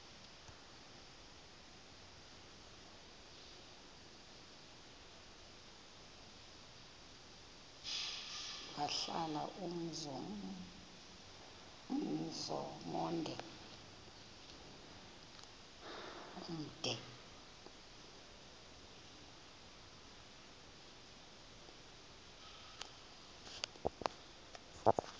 wahlala umzum omde